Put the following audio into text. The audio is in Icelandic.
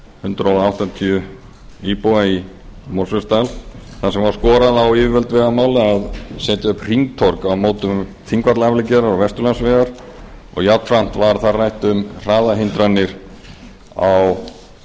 hundrað áttatíu íbúa í mosfellsdal þar sem skorað var á yfirvöld vegamála að setja upp hringtorg á mótum þingvallaafleggjara og vesturlandsvegar jafnframt var þar rætt um hraðahindranir á